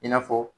I n'a fɔ